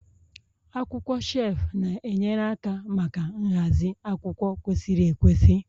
Akwụkwọ shelf na-enyere aka maka nhazi akwụkwọ kwesịrị ekwesị